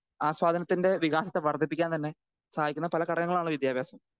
speaker 2 ആസ്വാദനത്തിൻ്റെ വികാസത്തെ വർധിപ്പിക്കാൻ തന്നെ സഹായിക്കുന്ന പല ഘടകങ്ങളാണ് വിദ്യാഭ്യാസം